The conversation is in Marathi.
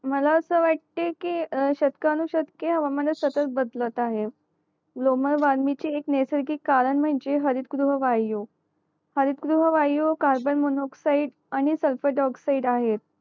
मला असं वाटय की अं शतकानु शतक हवामान सतत बदलत आहे ग्लोबल वॉर्मिंग ची एक नेसर्गिक म्णजे हरित गृह वायू हरित गृह वायू कार्बन मोनो ऑक्साईड आणि सल्फर डाय ऑक्साईड आहेत